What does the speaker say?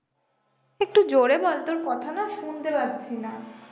একটু জোরে বল তোর কথা না শুনতে পাচ্ছি না